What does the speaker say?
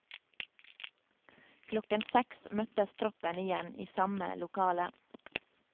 Klokken seks møttes troppen igjen, i samme lokale.